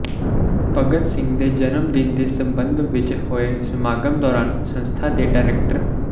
ਭਗਤ ਸਿੰਘ ਦੇ ਜਨਮ ਦਿਨ ਦੇ ਸਬੰਧ ਵਿੱਚ ਹੋਏ ਸਮਾਗਮ ਦੌਰਾਨ ਸੰਸਥਾ ਦੇ ਡਾਇਰੈਕਟਰ ਡਾ